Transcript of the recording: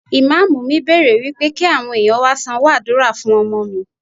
Ìmámúù mi bèrè wípé kí àwọn ẹ̀yàn wá sanwó àdúrà fún ọmọ mi.